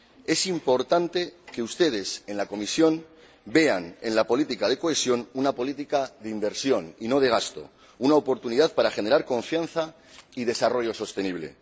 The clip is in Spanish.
Es importante que ustedes, en la Comisión, vean en la política de cohesión una política de inversión y no de gasto, una oportunidad para generar confianza y desarrollo sostenible.